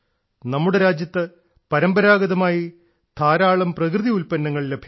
നമ്മുടെ രാജ്യത്ത് പരമ്പരാഗതമായി ധാരാളം പ്രകൃതി ഉൽപ്പന്നങ്ങൾ ലഭ്യമാണ്